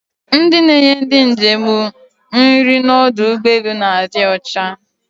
Ndị na-enye ndị njem nri n'ọdụ ụgbọelu na-adị ọcha